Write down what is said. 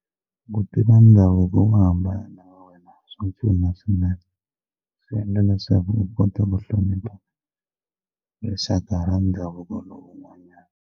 Ku tiva ndhavuko wo hambana na wa wena swa pfuna swinene naswona swi endla leswaku u kota hlonipha hi rixaka ra ndhavuko lowun'wanyana.